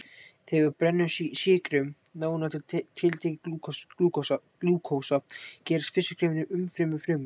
Þegar við brennum sykrum, nánar til tekið glúkósa, gerast fyrstu skrefin í umfrymi frumna.